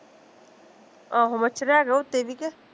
ਆਹੋ, ਮੱਛਰ ਹੈਗਾ ਉੱਤੇ ਵੀ ਕਿ